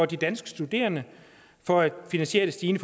de danske studerende for at finansiere de stigende